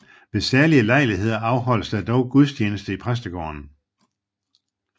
Ved særlige lejligheder afholdes der dog gudstjeneste i præstegården